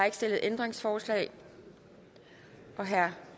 ikke stillet ændringsforslag herre